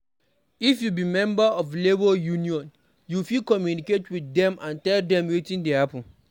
If you be member of labour union, you fit communicate with dem to tell dem wetin dey happen